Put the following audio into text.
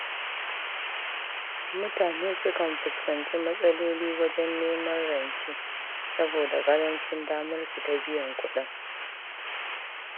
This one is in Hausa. Mutane sukan fuskanci matsaloli wajen neman rance saboda ƙarancin damarsu ta biyan kuɗin.